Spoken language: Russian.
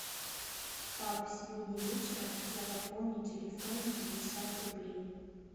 пап сегодня вечером я пополню телефон на пятьдесят рублей